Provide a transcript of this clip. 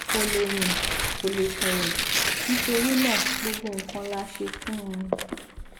kò lè rìn kò lè sọrọ nítorí náà gbogbo nǹkan la ṣe fún un